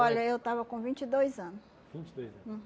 eu tava com vinte e dois ano. vinte e dois anos?